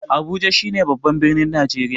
Abuja shi ne babban birnin Najreriya